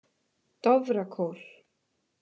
Dofrakór